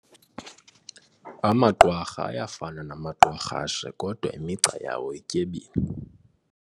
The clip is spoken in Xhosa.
Amaqwarha ayafana namaqwarhashe kodwa imigca yawo ityebile.